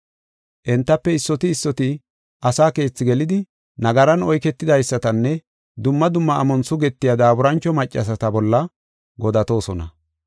Entafe issoti issoti asa keethaa gelidi nagaran oyketidaysatanne dumma dumma amon sugetiya daaburancho maccasata bolla godatosoona.